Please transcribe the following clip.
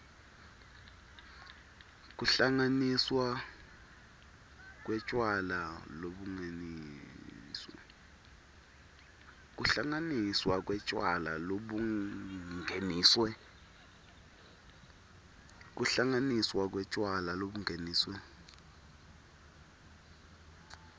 kuhlanganiswa kwetjwala lobungeniswe